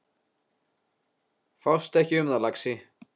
Fástu ekki um það, lagsi.